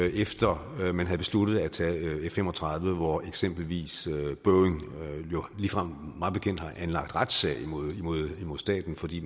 efter at man havde besluttet at tage f fem og tredive hvor eksempelvis boeing jo ligefrem mig bekendt anlagde retssag mod staten fordi